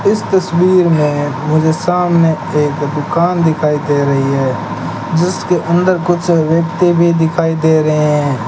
इस तस्वीर में मुझे सामने एक दुकान दिखाई दे रही है जिसके अंदर कुछ व्यक्ति भी दिखाई दे रहे हैं।